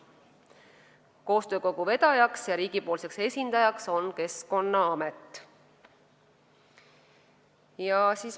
Koostöökogu vedaja ja riigi esindaja on Keskkonnaamet.